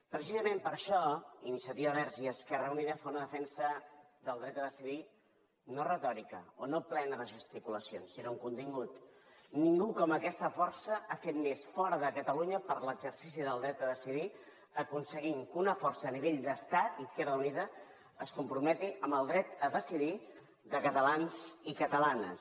precisament per això iniciativa verds i esquerra unida fa una defensa del dret a decidir no retòrica o no plena de gesticulacions sinó amb contingut ningú com aquesta força ha fet més fora de catalunya per l’exercici del dret a decidir i ha aconseguit que una força a nivell d’estat izquierda unida es comprometi amb el dret a decidir de catalans i catalanes